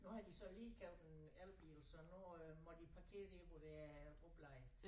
Nu har de så lige købt en elbil så nu øh må de parkere dér hvor der er opladere